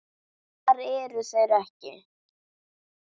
Hvar eru þeir ekki?